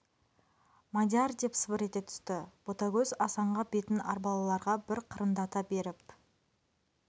мадияр деп сыбыр ете түсті ботагөз асанға бетін арбалыларға бір қырындата беріп